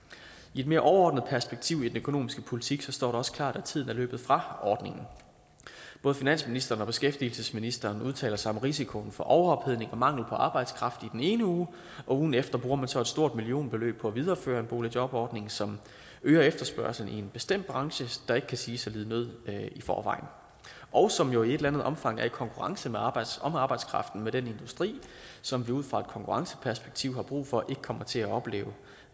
i et mere overordnet perspektiv i den økonomiske politik står det også klart at tiden er løbet fra ordningen både finansministeren og beskæftigelsesministeren udtaler sig om risikoen for overophedning og mangel på arbejdskraft i den ene uge og ugen efter bruger man så et stort millionbeløb på at videreføre en boligjobordning som øger efterspørgslen i en bestemt branche der ikke kan siges at lide nød i forvejen og som jo i et eller andet omfang er i konkurrence om arbejdskraften med den industri som vi ud fra et konkurrenceperspektiv har brug for ikke kommer til at opleve